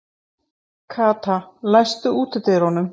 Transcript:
Kata, læstu útidyrunum.